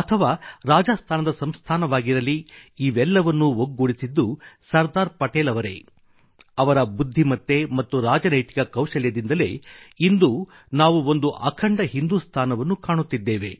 ಅಥವಾ ರಾಜಸ್ಥಾನದ ಸಂಸ್ಥಾನವಾಗಿರಲಿ ಇವೆಲ್ಲವನ್ನೂ ಒಗ್ಗೂಡಿಸಿದ್ದು ಸರ್ದಾರ್ ಪಟೇಲ್ ಅವರೇ ಅವರ ಬುದ್ಧಿಮತ್ತೆ ಮತ್ತು ರಾಜನೈತಿಕ ಕೌಶಲ್ಯದಿಂದಲೇ ಇಂದು ನಾವು ಒಂದು ಅಖಂಡ ಹಿಂದುಸ್ತಾನವನ್ನು ಕಾಣುತ್ತಿದ್ದೇವೆ